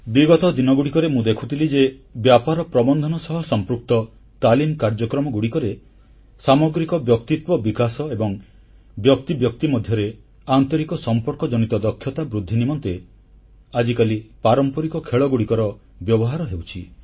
ବିଗତ ଦିନଗୁଡ଼ିକରେ ମୁଁ ଦେଖୁଥିଲି ଯେ ବ୍ୟାପାର ପ୍ରବନ୍ଧନ ସହ ସମ୍ପୃକ୍ତ ତାଲିମ କାର୍ଯ୍ୟକ୍ରମଗୁଡ଼ିକରେ ସାମଗ୍ରିକ ବ୍ୟକ୍ତିତ୍ୱ ବିକାଶ ଏବଂ ବ୍ୟକ୍ତି ବ୍ୟକ୍ତି ମଧ୍ୟରେ ଆନ୍ତରିକ ସମ୍ପର୍କ ଜନିତ ଦକ୍ଷତା ବୃଦ୍ଧି ନିମନ୍ତେ ଆଜିକାଲି ପାରମ୍ପରିକ ଖେଳଗୁଡ଼ିକର ବ୍ୟବହାର ହେଉଛି